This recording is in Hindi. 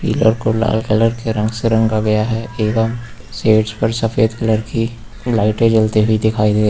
पिलर को लाल कलर के रंग से रंगा गया है एवं सेज पर सफेद कलर की लाइटें जलती हुई दिखाई दे --